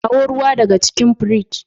kawo ruwa daga cikin fridge.